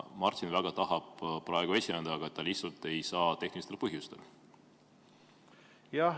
Martin väga tahab praegu esineda, aga ta lihtsalt tehnilistel põhjustel ei saa.